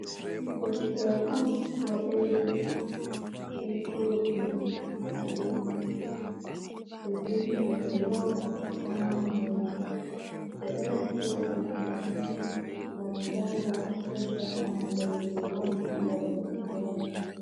Deftera on waɗeri be kolo blu ha doman ɓe ɗo vindi de low of human netur ɓe ɗo naftira deftera ni gam janga ɓedda andal je wani ha ndar deftera man.